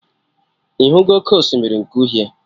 Ịhụgo oké osimiri nke uhie?